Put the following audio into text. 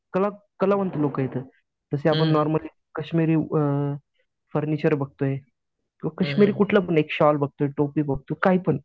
कला कलावंत लोकं आहेत त्यात तसे आपण नॉर्मली कश्मिरी अ फर्निचर बघतोय, कश्मिरी शॉल बघतोय टोपी बघतोय किंवा काहीपण